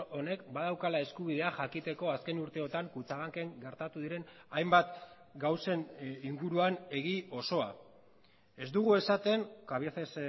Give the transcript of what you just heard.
honek badaukala eskubidea jakiteko azken urteotan kutxabanken gertatu diren hainbat gauzen inguruan egi osoa ez dugu esaten cabieces